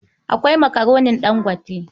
Akwai Makaronin Ɗangote.